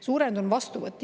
Suurenenud on vastuvõtt.